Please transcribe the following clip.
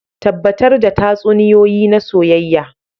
Tabbatar da tatsuniyoyi na soyayya